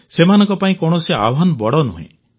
ସେମାନଙ୍କ ପାଇଁ କୌଣସି ଆହ୍ୱାନ ବଡ଼ ନୁହେଁ